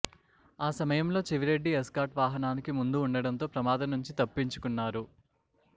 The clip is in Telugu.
ఆ సమయంలో చెవిరెడ్డి ఎస్కార్ట్ వాహనానికి ముందు ఉండడంతో ప్రమాదం నుంచి తప్పించుకున్నారు